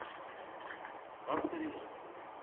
авто ремонт